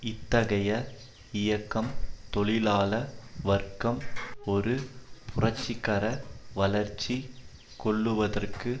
இத்தகைய இயக்கம் தொழிலாள வர்க்கம் ஒரு புரட்சிகர வளர்ச்சி கொள்ளுவதற்கு